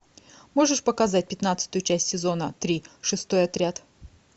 можешь показать пятнадцатую часть сезона три шестой отряд